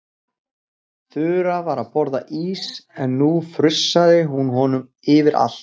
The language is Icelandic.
Þura var að borða ís en nú frussaði hún honum yfir allt.